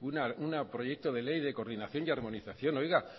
un proyecto de ley de coordinación y armonización oiga